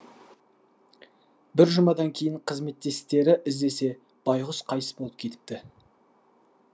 бір жұмадан кейін қызметтестері іздесе байғұс қайтыс болып кетіпті